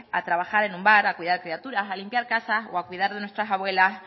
a trabajar en un bar a cuidar criaturas a limpiar casas o a cuidar de nuestras abuelas